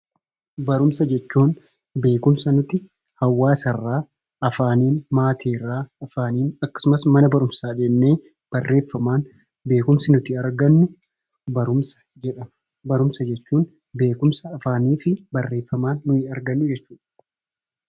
Barumsa jechuun beekumsa nuti hawaasa irraa afaaniin maatiirraa afaaniin akkasumas mana barumsaa deemnee barreeffamaan beekumsi nuti argannu barumsadha. Barumsa jechuun beekumsa afaanii fi barreeffamaan argannu jechuudha.